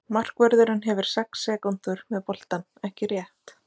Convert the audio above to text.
Markvörðurinn hefur sex sekúndur með boltann, ekki rétt?